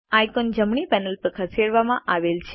icon જમણી panel પર ખસેડવામાં આવેલ છે